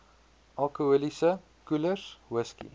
alkoholiese koelers whisky